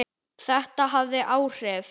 Þetta hafði áhrif.